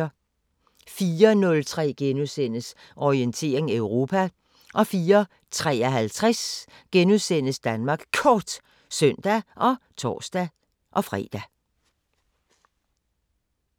04:03: Orientering Europa * 04:53: Danmark Kort *(søn og tor-fre)